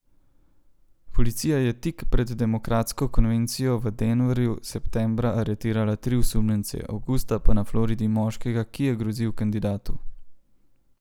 Policija je tik pred demokratsko konvencijo v Denverju septembra aretirala tri osumljence, avgusta pa na Floridi moškega, ki je grozil kandidatu.